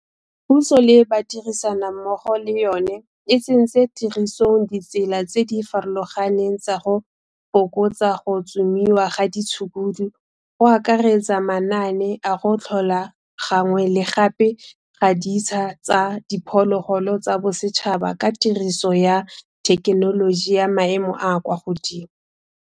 Puso le badirisanammogo le yona e tsentse tirisong ditsela tse di farologaneng tsa go fokotsa go tsomiwa ga ditshukudu go akaretsa manaane a go tlhola gangwe le gape ga ditsha tsa diphologolo tsa bosetšhaba ka tiriso ya thekenoloji ya maemo a a kwa godimo.